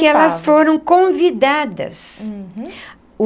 E elas foram convidadas. Uhum.